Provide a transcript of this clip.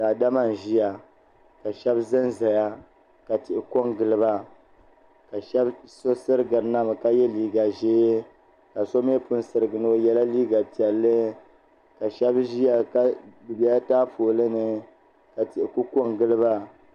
Daadama n ʒiya ka shab ʒɛnʒɛya ka tihi ko n giliba so sirigirina mi ka yɛ liiga ʒiɛ ka so mii pun sirigina o yɛla liiga piɛlli ka shab ʒiya bi biɛla taapooli ni ka tihi ku ko n giliba